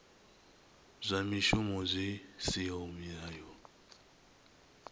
zwa mishumo zwi siho mulayoni